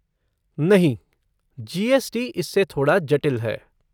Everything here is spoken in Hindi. नहीं, जी.एस.टी. इससे थोड़ा जटिल है।